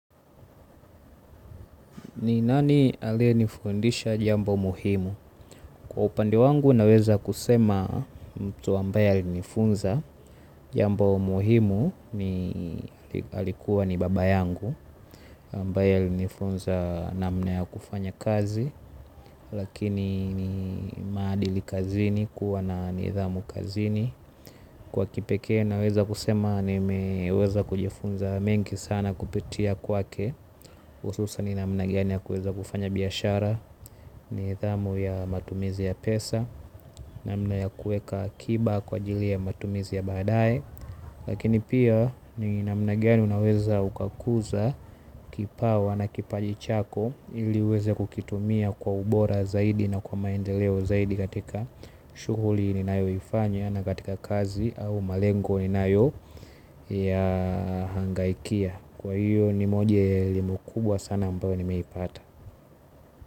Ni nani alie nifundisha jambo muhimu? Kwa upande wangu naweza kusema mtu ambaye alinifunza. Jambo muhimu ni alikuwa ni baba yangu ambaye alinifunza namna ya kufanya kazi. Lakini ni maadili kazini kuwa na nidhamu kazini. Kwa kipekee naweza kusema nimeweza kujifunza mengi sana kupitia kwake. Hususan namna gani ya kuweza kufanya biashara. Nidhamu ya matumizi ya pesa namna ya kuweka akiba kwa ajili ya matumizi ya baadaye lakini pia ni namna gani unaweza ukakuza kipawa na kipaji chako ili uweze kukitumia kwa ubora zaidi na kwa maendeleo zaidi katika shughuli ninayo ifanya na katika kazi au malengo inayo ya hangaikia kwa hiyo ni moja elimu kubwa sana ambayo nimewahi pata.